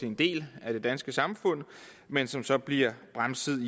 en del af det danske samfund men som så bliver bremset